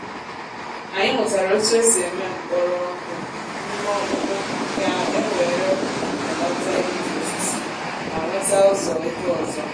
anyị mụtara otu esi eme mkpọrọ ọku n’ime ọkpụkpụ ka e wèré belata igbutu osisi ma nweta ụzọ ego ọzọ.